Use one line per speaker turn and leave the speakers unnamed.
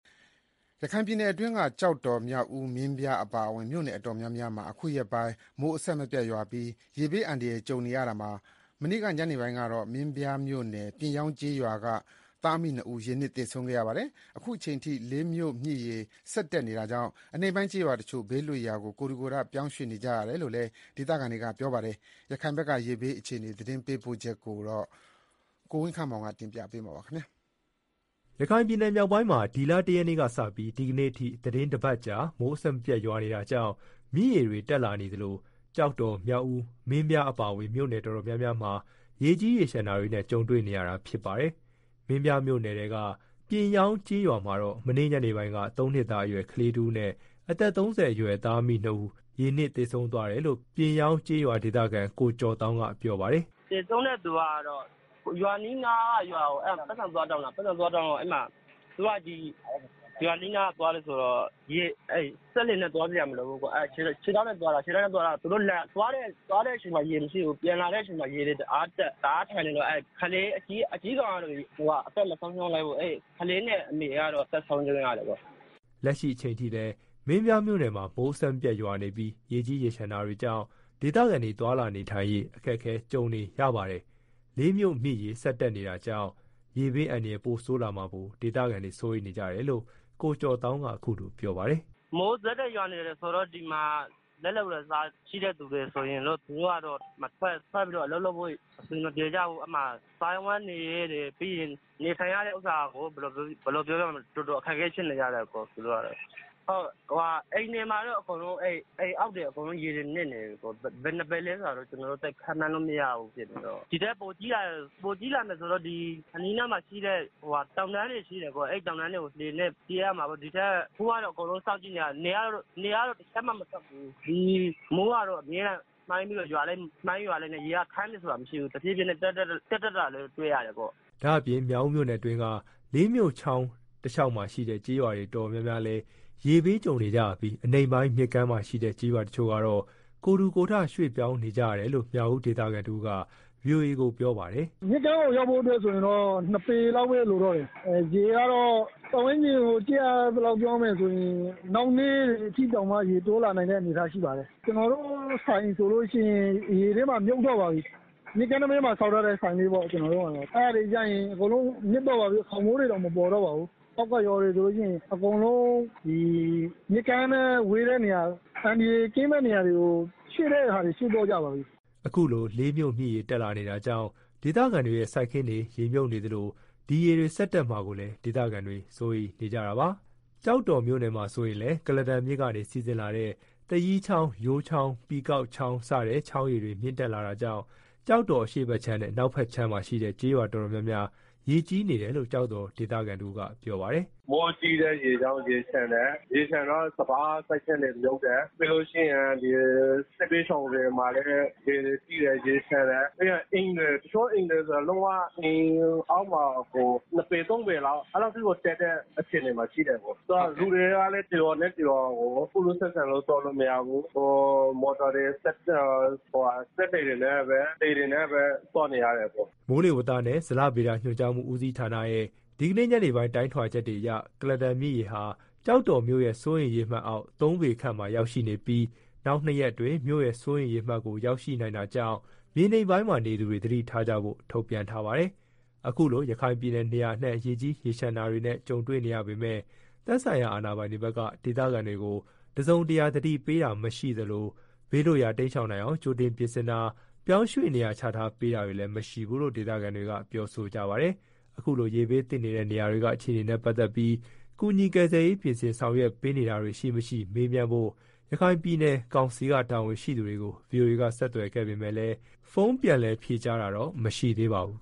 ရခိုင်ပြည်နယ်တွင်းက ကျောက်တော်၊ မြောက်ဦး၊ မင်းပြား အပါအဝင် မြို့နယ် တော်တော်များများမှာ အခုရက်ပိုင်း မိုးအဆက်မပြတ် ရွာပြီး ရေဘေးအန္တရာယ် ကြုံနေရတာမှာ မနေ့ ညနေပိုင်းကတော့ မင်းပြားမြို့နယ် ပြင်ယောင်း ကျေးရွာက သားအမိနှစ်ဦး ရေနစ် သေဆုံးခဲ့ရပါတယ်။ လက်ရှိအချိန်ထိ လေးမြို့ မြစ်ရေ ဆက်တက်နေတာကြောင့် အနိမ့်ပိုင်း ကျေးရွာတချို့ ဘေးလွတ်ရာ ကိုယ်ထူကိုယ်ထ ပြောင်းရွှေ့နေကြရတယ်လို့လည်း ဒေသခံတွေက ပြောပါတယ်။ ရခိုင်ဘက်က ရေဘေး အခြေအနေကိုတော့ ကိုဝင်းခန့်မောင်က တင်ပြပေးပါမယ်။
ရခိုင်ပြည်နယ်မြောက်ပိုင်းမှာ ဒီလ ၁ ရက်နေ့ကစပြီး ဒီကနေ့အထိ သီတင်းတပတ်ကြာ မိုးအဆက်မပြတ် ရွာနေတာကြောင့် မြစ်ရေတွေ တက်လာနေသလို ကျောက်တော်၊ မြောက်ဦး၊ မင်းပြား အပါအဝင် မြို့နယ် တော်တော်များများမှာ ရေးကြီးရေလျှံတာတွေနဲ့ ကြုံတွေ့ နေရပါတယ်။ မင်းပြားမြို့နယ်က ပြင်ယောင်းကျေးရွာမှာတော့ မနေ့က ညနေပိုင်းက သုံးနှစ်သားအရွယ် ကလေးတဦးနဲ့ အသက် ၃ဝ အရွယ် သားမိနှစ်ဦးတို့ ရေနစ်သေဆုံး သွားတယ်လို့ ပြင်းယောင်းကျေးရွာ ဒေသခံ ကိုကျော်သောင်းက ပြောပါတယ်
။ “သေဆုံးတဲ့ သူကတော့ ရွာနီးနားက ရွာကို အကြွေးသွားတောင်းတာ။ သူက ရွာနီးနား သွားတယ်ဆိုတော့ စက်လှေနဲ့ သွားစရာမလိုဘူး။ ခြေထောက်နဲ့ပဲ သွားတာ။ သူတို့သွားတဲ့ အချိန်မှာ ရေမရှိသေးဘူး။ ပြန်လာတော့ ရေတွေ တအားတက် ရေကြီးနေတော့ ကလေး အကြီးကောင်က ဘာမှမဖြစ်ဘူး။ ကလေးနဲ့ အမေကတော့ အသက်ဆုံးရှုံး လို
က်ရတယ်ပေါ့။” လက်ရှိအချိန်ထိလည်း မင်းပြားမြို့နယ်မှာ မိုးအဆက်မပြတ် ရွာနေပြီး ရေကြီးရေလျှံ နေတာကြောင့် ဒေသခံတွေ နေထိုင်သွားလာရေး အခက်ကြုံနေရပါတယ်။ လေးမြို့ မြစ်ရေ ဆက် တက်လာနေတာကြောင့်လည်း ရေဘေးအန္တရာယ် ပိုဆိုးလာမှာကို ဒေသခံတွေ စိုးရိမ်နေကြတယ်လို့ ကိုကျော်သောင်းက ပြောပါတယ်
။ “ မိုးကလည်း ဒီမှာ ဆက်တိုက်ရွာနေတယ်ဆိုတော့ လက်လုပ် လက်စားတွေ ထွက်ပြီးတော့ အလုပ် လုပ်ဖို့ အဆင်မပြေကြဘူး။ စားဝတ်နေရေးတွေ နေထိုင်ရာတာကတော့ တော်တော် အခက်ကြုံရတယ်။ အိမ်တွေမှာတော့ အိမ်အောက်တွေ အကုန်လုံး ရေတွေ မြှုပ်နေတယ်။ ဘယ်နှစ်ပေလဲ ဆိုတာတော့ ကျနော်တို့ သိပ်ခန့်မှန်းလို့ မရဘူး။ ဒီထက်ပိုကြီး လာမယ် ဆိုရင်တော့ အနီးအနားမှာရှိတဲ့ တောင်တန်းတွေဆီကို လှေနဲ့ ပြေးရမှာပေါ့။ အခုကတော့ စောင့်ကြည့်နေကြတယ်။ နေက တချက်မှ မထွက်ဘူး။ မိုးကလည်း အမြဲရွာတော့ ရေက ခမ်းသွားတယ် ဆိုတာမရှိဘူး။ တဖြည်းဖြည်းနဲ့ ရေက တက်တက်လာတာ တွေ့ရတယ်။
” ဒါ့အပြင် မြောက်ဦးမြို့နယ်အတွင်းက လေးမြို့ချောင်း တလျှောက်မှာရှိတဲ့ ကျေးရွာတွေ တော်တော်များများလည်း ရေဘေး ကြုံနေရပြီး အနိမ့်ပိုင်း မြစ်ကမ်းနားမှာ ရှိတဲ့ ကျေးရွာတချို့ကတော့ ကိုယ်ထူကိုယ်ထ ရွှေ့ပြောင်းနေကြရတယ်လို့ မြောက်ဦး ဒေသခံတဦးက ဗွီအိုအေကို ပြောပါတယ်။ “ မြစ
်ကမ်းကို ရောက်ဖို့ အတွက်ဆိုရင်တော့ ရေက ၂ ပေလောက်ပဲ လိုတော့တယ်။ ရေက တော့ ပတ်ဝန်းကျင်ကို ကြည့်ရသလောက်ဆိုရင် နောက်နေ့အထိ တက်မယ်ထင်တယ်။ ကျနော်တို့ဆိုင် ဆိုလို့ရှိရင် ရေထဲမှာ မြှုပ်သွားပါပြီ။ မြစ်ကမ်းနံဘေးမှာ ဆောက်ထားတဲ့ ဆိုင်လေးပေါ့။ အဲ့ဒါတွေ အကုန်လုံး နစ်သွားပါပြီ။ ခေါင်မိုးတွေတောင် မပေါ်တော့ပါဘူး။ အောက်က ရွာတွေ ဆိုလို့ရှိရင် မြစ်ကမ်းနဲ့ ဝေးတဲ့နေရာ၊ အန္တရာယ်ကင်းမယ့် နေရာတွေကို ရွှေ့တဲ့သူတွေ ရွှေ့သွားကြပါပြီ။
” အခုလို လေးမြို့မြစ်ရေ တက်လာနေတာကြောင့် ဒေသခံတွေရဲ့ စိုက်ခင်းတွေ ရေမြှုပ်နေသလို ဒီရေတွေ ဆက်တက်လာမှာကိုလည်း ဒေသခံတွေက စိုးရိမ်နေကြတာပါ။ ကျောက်တော်မြို့ နယ်မှာဆိုရင်လည်း ကလားတန်မြစ်ကနေ စီးဆင်းလာတဲ့ သရီးချောင်း၊ ယိုးချောင်း၊ ပီကောက်ချောင်း စတဲ့ ချောင်းရေတွေ မြင့်တက်လာတာကြောင့် ကျောက်တော် အရှေ့ဘက်ခြမ်းနဲ့ အနောက်ဘက်ခြမ်းမှာရှိတဲ့ ကျေးရွာတော်တော်များများ ရေကြီးနေတယ်လို့ ကျောက်တော် ဒေသခံတဦးက ပြောပါတယ်။
“ မိုးကြီးတဲ့ ရေကြောင့် ရေလျှံတယ်။ ရေလျှံတော့ စပါးစိုက်ခင်းတွေ မြှုပ်တယ်။ ပြီးတော့ စစ်ဘေးရှောင်စခန်းတွေမှာလည်း ရေတွေကြီးတယ်။ တချို့အိမ်တွေ ဆိုရင် အိမ်အောက်မှာကို ၂ ပေ ၃ ပေလောက်ထိ တက်နေတဲ့ အခြေအနေမှာရှိတယ်။ လူတွေကလည်း တရွာနဲ့ တရွာကို ကူးလူးဆက်ဆံလို့ သွားလို့မရဘူး။ မော်တော်တွေ စက်လှေတွေ လှေတွေနဲ့ပဲ သွားနေရတယ်။
” မိုးလေဝသနဲ့ ဇလဗေဒညွှန်ကြားမှု ဦးစီးဌာနရဲ့ ဒီကနေ့ ညနေပိုင်း တိုင်းထွာချက်တွေအရ ကုလားတန်မြစ်ရေဟာ ကျောက်တော်မြို့ရဲ့ စိုးရိမ်ရေအမှတ်အောက် ၃ ပေခန့်မှာ ရောက်ရှိနေပြီး နောက် ၂ ရက်အတွင်း မြို့ရဲ့ စိုးရိမ်ရေ အမှတ်ကို ရောက်ရှိနိုင်တာကြောင့် မြေနိမ့်ပိုင်း နေသူတွေ သတိထားကြဖို့ ထုတ်ပြန်ထားပါတယ်။ အခုလို ရခိုင်ပြည်နယ် နေရာအနှံ့ ရေကြီးရေလျှံတာတွေနဲ့ ကြုံတွေ့နေရပေမဲ့ သက်ဆိုင်ရာ အာဏာပိုင်တွေဘက်က ဒေသခံတွေကို တစုံတရာ သတိပေးတာ မရှိသလို၊ ဘေးလွတ်ရာ တိမ်းရှောင်နိုင်အောင် ကြိုတင် ပြင်ဆင်တာ၊ ပြောင်းရွှေ့နေရာ ချထားပေးတာတွေလည်း မရှိဘူးလို့ ဒေသခံတွေက ပြောဆိုကြပါတယ်။ ခုလို ရေဘေးသင့်နေတဲ့ နေရာတွေက အခြေအနေနဲ့ပတ်သက်ပြီး ကူညီ ကယ်ဆယ်ရေး ပြင်ဆင် ဆောင်ရွက် ပေးနေတာတွေ ရှိ မရှိ မေးမြန်းဖို့ ရခိုင်ပြည်နယ်ကောင်စီက တာဝန်ရှိသူတွေကို ဗွီအိုအေက ဆက်သွယ်ခဲ့ပေမဲ့လည်း ဖုန်းပြန်လည် ဖြေကြားတာတော့ မရှိသေးပါဘူး